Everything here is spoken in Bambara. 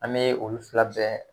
An mɛ olu fila bɛɛ